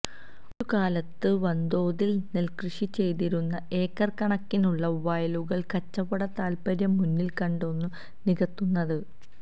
ഒരു കാലത്തു വന്തോതില് നെല്കൃഷി ചെയ്തിരുന്ന ഏക്കര് കണക്കിനുള്ള വയലുകള് കച്ചവട താല്പ്പര്യം മുന്നില് കണ്ടാണു നികത്തുന്നത്